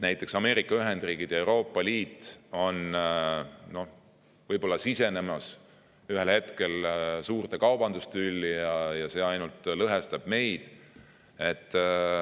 Näiteks kui Ameerika Ühendriigid ja Euroopa Liit sisenevad ühel hetkel suurte kaubandustülli, siis see ainult lõhestab meid.